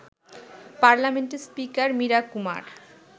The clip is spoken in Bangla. পার্লামেন্টের স্পিকার মীরা কুমার